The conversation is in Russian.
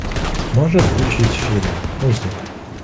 можешь включить фильм узник